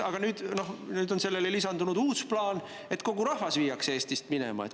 Nüüd on sellele lisandunud uus plaan, et kogu rahvas viiakse Eestist minema.